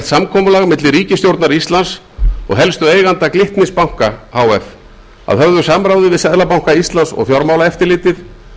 samkomulag milli ríkisstjórnar íslands og helstu eigenda glitnis banka h f að höfðu samráði við seðlabanka íslands og fjármálaeftirlitið